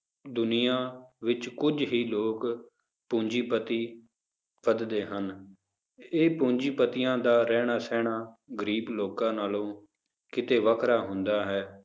ਦੁਨੀਆਂ ਵਿੱਚ ਕੁੱਝ ਹੀ ਲੋਕ ਪੂੰਜੀਪਤੀ ਵੱਧਦੇ ਹਨ, ਇਹ ਪੂੰਜੀਪਤੀਆਂ ਦਾ ਰਹਿਣਾ ਸਹਿਣਾ ਗ਼ਰੀਬ ਲੋਕਾਂ ਨਾਲੋਂ ਕਿਤੇ ਵੱਖਰਾ ਹੁੰਦਾ ਹੈ,